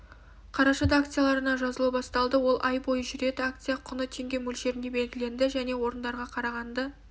қарашада акцияларына жазылу басталды ол ай бойы жүреді акция құны теңге мөлшерінде белгіленді және орындарда қарағанды